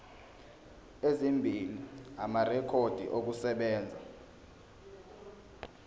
ezimbili amarekhodi okusebenza